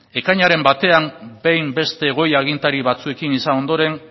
ekainaren batean behin beste goi agintari batzuekin izan ondoren